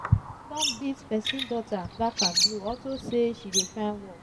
sun beat person daughter black and blue unto say she dey find work